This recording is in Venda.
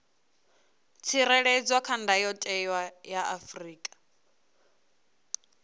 tsireledzwa kha ndayotewa ya afrika